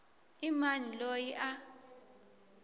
i mani loyi a a